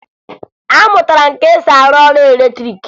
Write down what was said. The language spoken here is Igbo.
Amụtara m ka e si arụ ọrụ latrịịkị